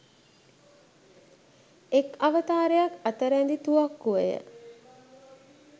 එක් අවතාරයක් අත රැඳි තුවක්කුවය.